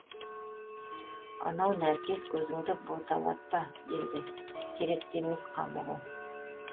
анау нәркес көзіңді боталатпа енді керек те емес қамығу